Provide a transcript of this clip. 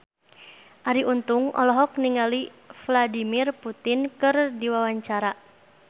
Arie Untung olohok ningali Vladimir Putin keur diwawancara